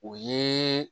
O ye